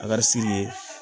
A ka ye